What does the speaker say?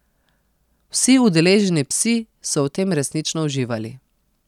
Vsi udeleženi psi so v tem resnično uživali.